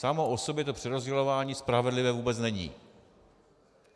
Samo o sobě to přerozdělování spravedlivé vůbec není.